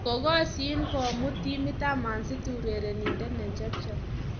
Kokasyin kpmuut timit ab Man city urerindet ne chepchep